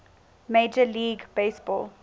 major league baseball